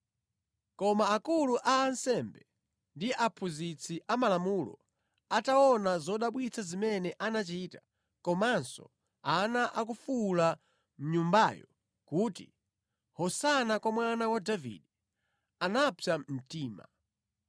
Koma akulu a ansembe ndi aphunzitsi amalamulo ataona zodabwitsa zimene anachita, komanso ana akufuwula mʼNyumbayo kuti, “Hosana kwa Mwana wa Davide,” anapsa mtima.